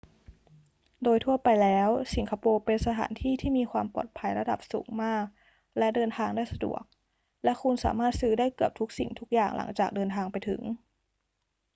โดยทั่วไปแล้ว สิงคโปร์เป็นสถานที่ที่มีความปลอดภัยระดับสูงมากและเดินทางได้สะดวก และคุณสามารถซื้อได้เกือบทุกสิ่งทุกอย่างหลังจากเดินทางไปถึง